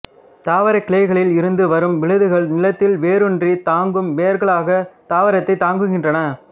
தாவரக் கிளைகளில் இருந்து வரும் விழுதுகள் நிலத்தில் வேரூன்றி தாங்கும் வேர்களாக தாவரத்தைத் தாங்குகின்றன